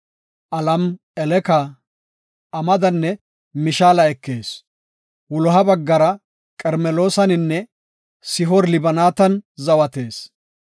Alameleke, Amadanne Mishaala ekees. Wuloha baggara Qarmeloosaninne Sihoor-Libnaatan zawatees.